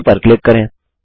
okay पर click करें